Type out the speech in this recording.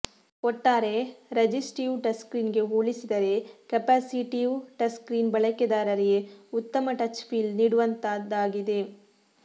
ಒಟ್ಟಾರೆ ರಜಿಸ್ಟೀವ್ ಟಚ್ಸ್ಕ್ರೀನ್ಗೆ ಹೋಲಿಸಿದರೆ ಕೆಪಾಸಿಟೀವ್ ಟಚ್ಸ್ಕ್ರೀನ್ ಬಳಕೆದಾರರಿಗೆ ಉತ್ತಮ ಟಚ್ ಫೀಲ್ ನೀಡುವಂತದ್ದಾಗಿದೆ